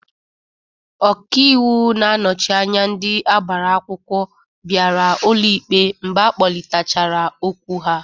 Ọka iwu na-anọchị anya ndị agbara akwụkwọ biara ụlọ ikpe mgbe akpọlitachara okwu ha.